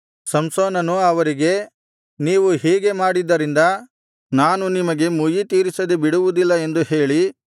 ಸಂಸೋನನು ಅವರಿಗೆ ನೀವು ಹೀಗೆ ಮಾಡಿದ್ದರಿಂದ ನಾನು ನಿಮಗೆ ಮುಯ್ಯಿತೀರಿಸದೆ ಬಿಡುವುದಿಲ್ಲ ಎಂದು ಹೇಳಿ